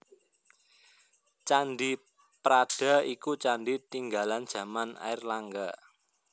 Candhi Prada iku candhi tinggalan jaman Airlangga